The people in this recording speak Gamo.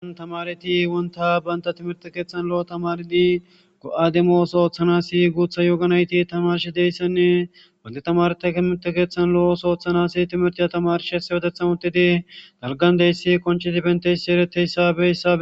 Ana tamareti wonta baynta timirte keeththan lo'o tamardi go'ademos ooththanasi guutha yooganayti tamarsh deyssenne wanta tamarta kimerte keeththan lo'os ooththanasi timirti ya tamarsh hese wotethan uttedi dalgan deyssi konchi tifenteysi ereteyssabessa.